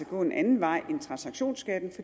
gå en anden vej end transaktionsskatten